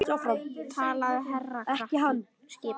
Talaðu hærra krakki skipaði hún.